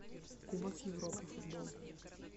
кубок европы футбол